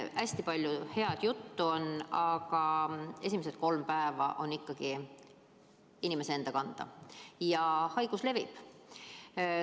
Hästi palju head juttu on, aga esimesed kolm päeva on ikkagi inimese enda kanda, ja haigus levib.